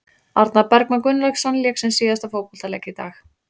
Arnar Bergmann Gunnlaugsson lék sinn síðasta fótboltaleik í dag.